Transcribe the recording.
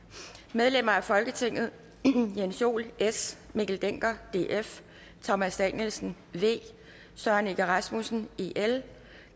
medlemmer af folketinget jens joel mikkel dencker thomas danielsen søren egge rasmussen